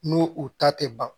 N'u u ta tɛ ban